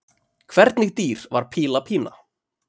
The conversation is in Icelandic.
Hvernig dýr var Píla Pína?